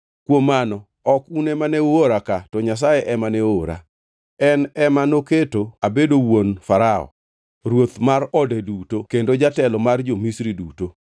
“Kuom mano, ok un ema ne uora ka to Nyasaye ema ne oora. En ema noketo abedo wuon Farao, ruoth mar ode duto kendo jatelo mar jo-Misri duto.